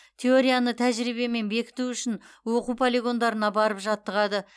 теорияны тәжірибемен бекіту үшін оқу полигондарына барып жаттығады